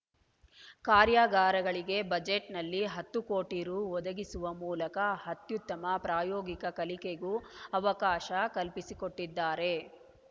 ಕಾರ್ಯಾಗಾರಗಳಿಗೆ ಬಜೆಟ್‌ನಲ್ಲಿ ಹತ್ತು ಕೋಟಿ ರೂ ಒದಗಿಸುವ ಮೂಲಕ ಅತ್ಯುತ್ತಮ ಪ್ರಾಯೋಗಿಕ ಕಲಿಕೆಗೂ ಅವಕಾಶ ಕಲ್ಪಿಸಿಕೊಟ್ಟಿದ್ದಾರೆ